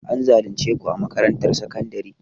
An zalunce ku a makarantar sakandare?